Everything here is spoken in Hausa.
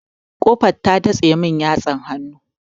Ƙofar ta datse mun yatsar hannu.